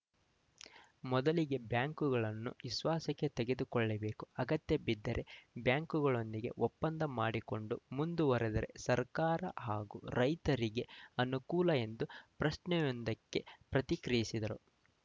ಮೊದಲಿಗೆ ಬ್ಯಾಂಕುಗಳನ್ನು ವಿಶ್ವಾಸಕ್ಕೆ ತೆಗೆದುಕೊಳ್ಳಬೇಕು ಅಗತ್ಯ ಬಿದ್ದರೆ ಬ್ಯಾಂಕುಗಳೊಂದಿಗೆ ಒಪ್ಪಂದ ಮಾಡಿಕೊಂಡು ಮುಂದುವರೆದರೆ ಸರ್ಕಾರ ಹಾಗೂ ರೈತರಿಗೆ ಅನುಕೂಲ ಎಂದು ಪ್ರಶ್ನೆಯೊಂದಕ್ಕೆ ಪ್ರತಿಕ್ರಿಯಿಸಿದರು